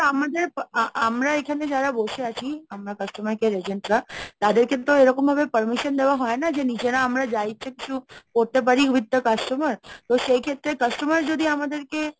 আমাদের আমরা এখানে যারা বসে আছি customer care agent রা তাদের কিন্তু এরকমভাবে permission দেওয়া হয় না, যে নিজেরা আমরা যা ইচ্ছা কিছু করতে পারি with the customer তো সেই ক্ষেত্রে customer যদি আমাদেরকে